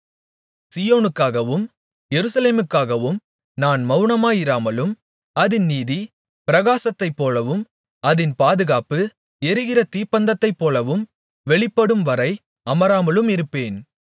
சீயோனுக்காகவும் எருசலேமுக்காகவும் நான் மவுனமாயிராமலும் அதின் நீதி பிரகாசத்தைப் போலவும் அதின் பாதுகாப்பு எரிகிற தீப்பந்தத்தைப்போலவும் வெளிப்படும்வரை அமராமலும் இருப்பேன்